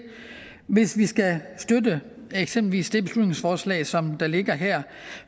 hvis vi skal støtte eksempelvis det beslutningsforslag som der ligger her